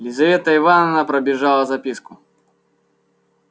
лизавета ивановна пробежала записку